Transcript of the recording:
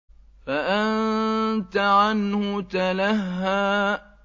فَأَنتَ عَنْهُ تَلَهَّىٰ